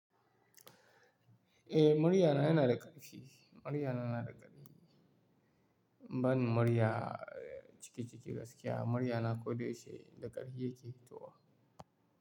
Eh, marya na yana da ƙarfi. Murya na na da ƙarfi. Ban murya ciki ciki gaskiya, murya na ko da yaushe da ƙarfi yake hitowa.